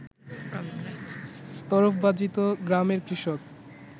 তরফবাজিত গ্রামের কৃষক